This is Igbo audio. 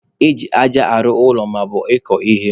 Eji aja arụ ụlọ maọbụ ịkọ ihe.